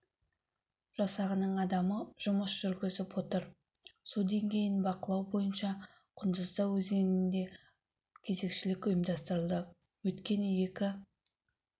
жасағының адамы жұмыс жүргізіп отыр су деңгейін бақылау бойынша құндызда өзенінде кезекшілік ұйымдастырылды өткен екі